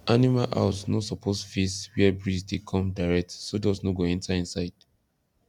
animal house no suppose face where breeze dey come direct so dust no go enter inside